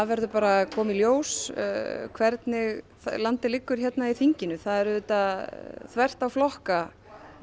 verður bara að koma í ljós hvernig landið liggur hérna í þinginu það er auðvitað þvert á flokka